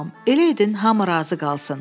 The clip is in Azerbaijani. Elə edin hamı razı qalsın.